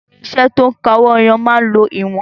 Irinṣẹ́ to ń ka owó ẹyọ máa ń lo ìwọ̀n.